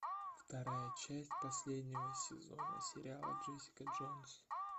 вторая часть последнего сезона сериала джессика джонс